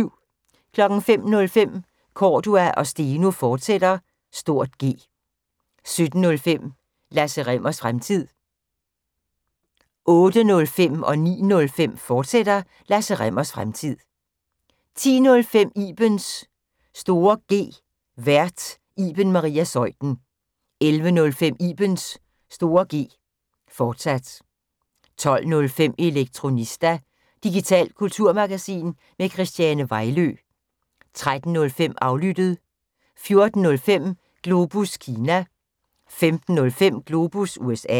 05:05: Cordua & Steno, fortsat (G) 07:05: Lasse Rimmers Fremtid 08:05: Lasse Rimmers Fremtid, fortsat 09:05: Lasse Rimmers Fremtid, fortsat 10:05: Ibens (G) Vært: Iben Maria Zeuthen 11:05: Ibens (G), fortsat 12:05: Elektronista – digitalt kulturmagasin med Christiane Vejlø 13:05: Aflyttet 14:05: Globus Kina 15:05: Globus USA